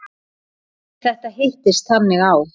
Þetta hittist þannig á.